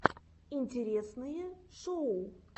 интересные шоу